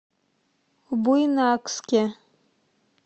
буйнакске